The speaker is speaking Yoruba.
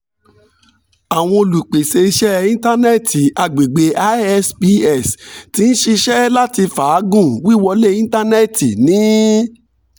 awọn olupese iṣẹ intanẹẹti agbegbe isps ti n ṣiṣẹ lati faagun wiwọle intanẹẹti ni